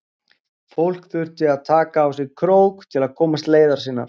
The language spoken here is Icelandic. Fólk þurfti að taka á sig krók til að komast leiðar sinnar.